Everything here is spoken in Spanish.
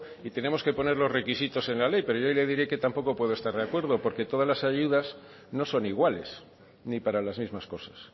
y tenemos que poner los requisitos en la ley pero yo añadiré que tampoco puede estar de acuerdo porque todas las ayudas no son iguales ni para las mismas cosas